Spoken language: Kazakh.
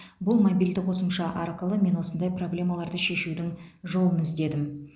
бұл мобильді қосымша арқылы мен осындай проблемаларды шешудің жолын іздедім